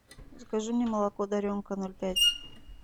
закажи мне молоко даренка ноль пять